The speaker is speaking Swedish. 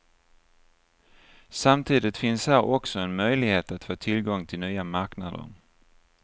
Samtidigt finns här också en möjlighet att få tillgång till nya marknader.